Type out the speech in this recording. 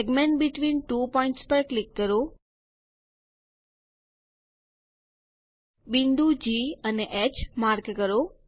segment between two points પર click કરો બિંદુ જી અને હ માર્ક કરો